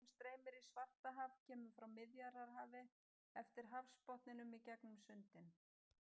Sjórinn sem streymir í Svartahaf kemur frá Miðjarðarhafi eftir hafsbotninum í gegnum sundin.